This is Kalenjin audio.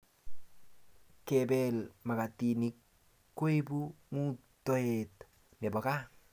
Kepel makatinik koipu ngutoet nebo kaa